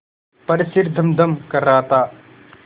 पर सिर धमधम कर रहा था